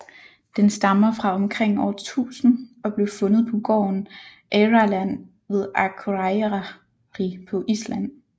Den stammer fra omkring år 1000 og blev fundet på gården Eyrarland ved Akureyri på Island